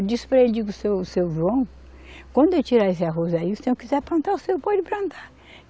Eu disse para ele, digo, seu, seu João, quando eu tirar esse arroz aí, o senhor quiser plantar, o senhor pode plantar.